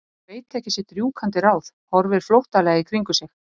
Hann veit ekki sitt rjúkandi ráð, horfir flóttalega í kringum sig.